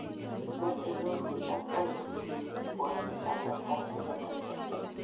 Machei Norwich ak Brighton Mbwana Samatta nebo Tanzania